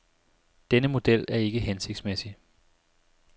Denne model er ikke hensigtsmæssig.